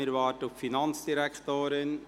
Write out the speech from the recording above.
Wir warten auf die Finanzdirektorin.